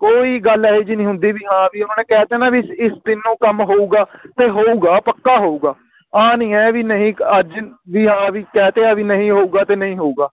ਕੋਈ ਗੱਲ ਏਹੀ ਜਿਹੀ ਨਹੀਂ ਹੁੰਦੀ ਵੀ ਹਾਂ ਵੀ ਉਹਨਾਂ ਨੇ ਕਹਿ ਦੇਣਾ ਵੀ ਇਸ ਇਸ ਦਿਨ ਨੂੰ ਕੰਮ ਹੋਊਗਾ ਤੇ ਹੋਊਗਾ ਪੱਕਾ ਹੋਊਗਾ ਆ ਨੀ ਏ ਵੀ ਨਹੀਂ ਅੱਜ ਵੀ ਹਾਂ ਵੀ ਕਹਿ ਤੇ ਵੀ ਨਹੀਂ ਹੋਊਗਾ ਤੇ ਨਹੀਂ ਹੋਊਗਾ